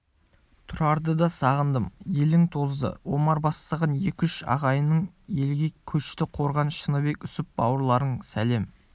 тұрарды да сағындым елің тозды омар бастаған екі-үш ағайының елге көшті қорған шыныбек үсіп бауырларың сәлем